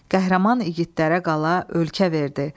Qəhrəman igidlərə qala, ölkə verdi.